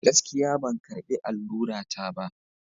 Gaskiya! Ban karɓi allura ta ba.